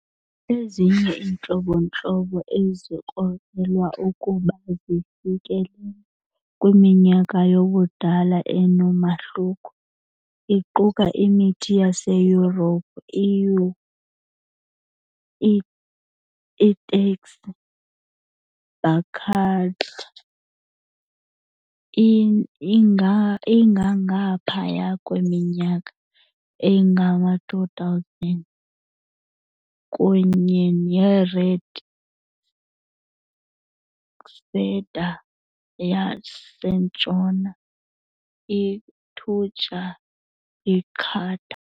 Ezinye iintlobo-ntlobo ezikrokrelwa ukuba zifikelela kwiminyaka yobudala enomahluko, iquka imithi yaseYurophu i-Yew "iTaxus baccata", ingangaphaya kweminyaka engama-2,000, kunye neRedcedar yasentshona "iThuja plicata".